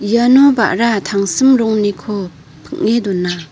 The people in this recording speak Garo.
iano ba·ra tangsim rongniko ping·e dona.